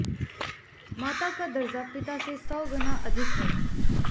माता का दर्जा पिता से सौ गुना अधिक है